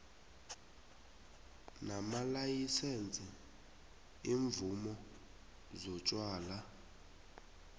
namalayisense iimvumo zotjwala